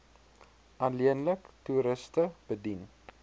alleenlik toeriste bedien